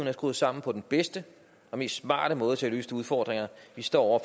er skruet sammen på den bedste og mest smarte måde til at løse de udfordringer vi står